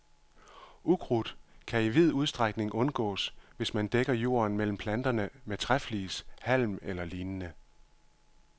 Ukrudt kan i vid udstrækning undgås, hvis man dækker jorden mellem planterne med træflis, halm eller lignende.